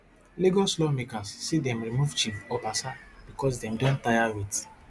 lagos lawmakers say dem remove chief obasa becos dem don tire wit